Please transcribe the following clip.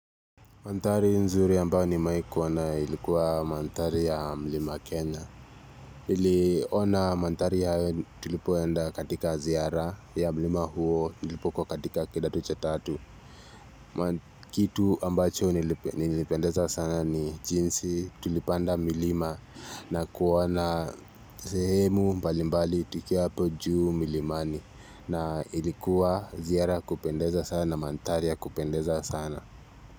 Mandhari nzuri ambayo nimewai kuwa nayo ilikuwa mandhari ya mlima Kenya. Iliona mandhari hayo tulipoenda katika ziara ya mlima huo tulipokuwa katika kidato cha tatu. Kitu ambacho nilipendeza sana ni jinsi tulipanda milima na kuona sehemu mbalimbali tukiwa apo juu milimani. Na ilikuwa ziara ya kupendeza sana mandhari ya kupendeza sana.